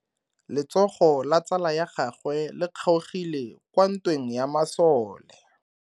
Letsogo la tsala ya gagwe le kgaogile kwa ntweng ya masole.